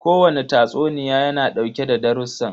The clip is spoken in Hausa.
Ko wane tatsuniya ya na dauke da darussan.